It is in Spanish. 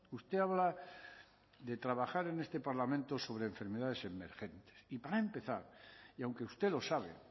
usted habla de trabajar en este parlamento sobre enfermedades emergentes y para empezar y aunque usted lo sabe